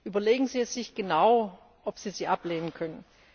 Überlegen Sie es sich genau, ob Sie sie ablehnen können.